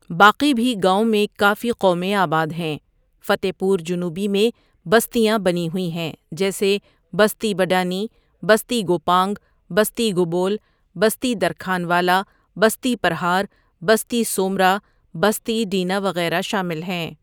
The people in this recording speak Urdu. باقی بھی گاؤں میں کافی قومیں آباد ہیں فتع پورجنوبی میں بستیاں بنی ہوئ ہیں جیسے بستی بڈانی، بستی گوپانگ، بستی گبول، بستی درکھان والہ، بستی پرہار، بستی سومرہ بستی ڈینہ وغیرہ شامل ہیں ۔